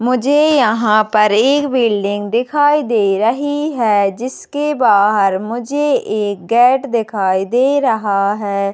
मुझे यहाँ पर एक बिल्डिंग दिखाई दे रही है जिसके बाहर मुझे एक गेट दिखाई दे रहा है।